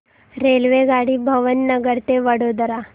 रेल्वेगाडी भावनगर ते वडोदरा